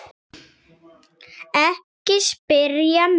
Ekki spyrja mig.